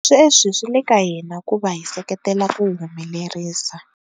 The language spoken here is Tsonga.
Sweswi swi le ka hina ku va hi va seketela ku wu humelerisa.